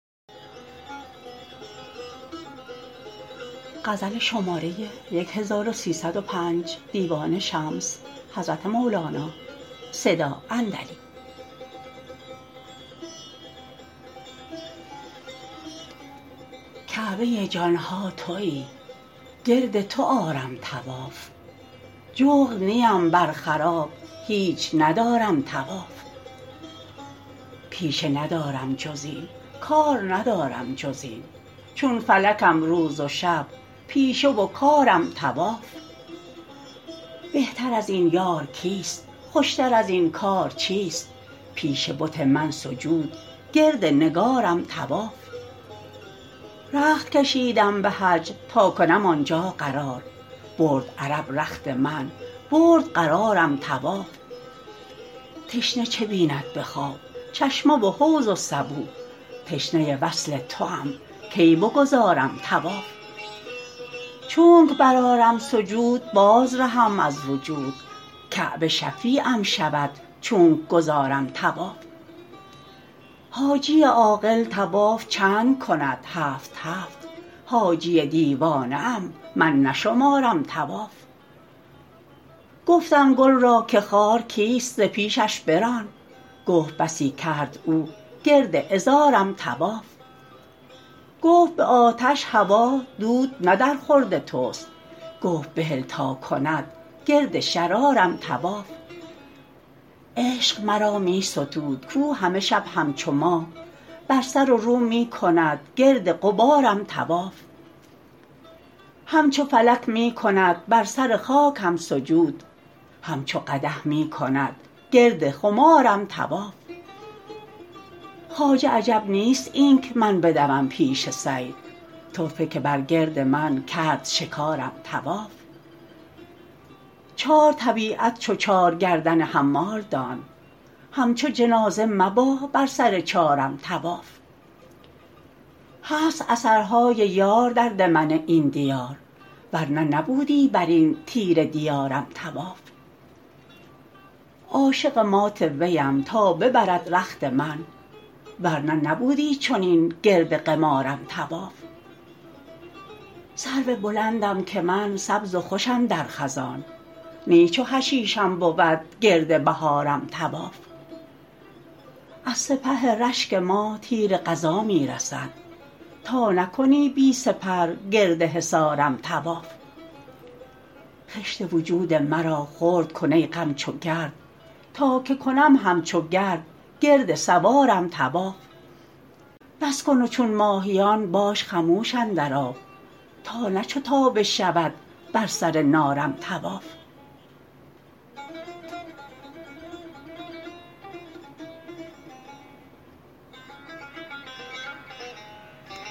کعبه جان ها توی گرد تو آرم طواف جغد نیم بر خراب هیچ ندارم طواف پیشه ندارم جز این کار ندارم جز این چون فلکم روز و شب پیشه و کارم طواف بهتر از این یار کیست خوشتر از این کار چیست پیش بت من سجود گرد نگارم طواف رخت کشیدم به حج تا کنم آن جا قرار برد عرب رخت من برد قرارم طواف تشنه چه بیند به خواب چشمه و حوض و سبو تشنه وصل توام کی بگذارم طواف چونک برآرم سجود بازرهم از وجود کعبه شفیعم شود چونک گزارم طواف حاجی عاقل طواف چند کند هفت هفت حاجی دیوانه ام من نشمارم طواف گفتم گل را که خار کیست ز پیشش بران گفت بسی کرد او گرد عذارم طواف گفت به آتش هوا دود نه درخورد توست گفت بهل تا کند گرد شرارم طواف عشق مرا می ستود کو همه شب همچو ماه بر سر و رو می کند گرد غبارم طواف همچو فلک می کند بر سر خاکم سجود همچو قدح می کند گرد خمارم طواف خواجه عجب نیست اینک من بدوم پیش صید طرفه که بر گرد من کرد شکارم طواف چار طبیعت چو چار گردن حمال دان همچو جنازه مبا بر سر چارم طواف هست اثرهای یار در دمن این دیار ور نه نبودی بر این تیره دیارم طواف عاشق مات ویم تا ببرد رخت من ور نه نبودی چنین گرد قمارم طواف سرو بلندم که من سبز و خوشم در خزان نی چو حشیشم بود گرد بهارم طواف از سپه رشک ما تیر قضا می رسد تا نکنی بی سپر گرد حصارم طواف خشت وجود مرا خرد کن ای غم چو گرد تا که کنم همچو گرد گرد سوارم طواف بس کن و چون ماهیان باش خموش اندر آب تا نه چو تابه شود بر سر نارم طواف